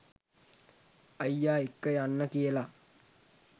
අයියා එක්ක යන්න කියලා